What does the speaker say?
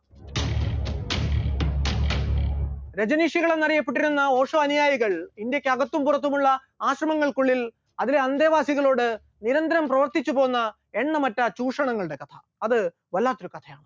രജനീഷികൾ എന്ന് അറിയപ്പെട്ടിരുന്ന ഓഷോ അനുയായികൾ ഇന്ത്യക്ക് അകത്തും പുറത്തുമുള്ള ആശ്രമങ്ങൾക്കുള്ളിൽ അതിലെ അന്ധേവാസികളോട് നിരന്തരം പ്രവർത്തിച്ചുപോന്ന എണ്ണമറ്റ ചൂഷണങ്ങളുടെ കഥ, അത് വല്ലാത്തൊരു കഥയാണ്.